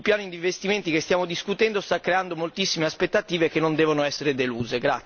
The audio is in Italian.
Il piano di investimenti che stiamo discutendo sta creando moltissime aspettative che non devono essere deluse.